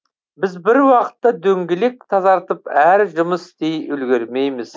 біз бір уақытта дөңгелек тазартып әрі жұмыс істей үлгермейміз